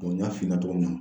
n y'a f'i ɲɛna cogo min na.